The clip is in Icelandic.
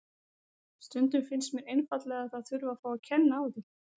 Stundum finnst mér einfaldlega að það þurfi að fá að kenna á því.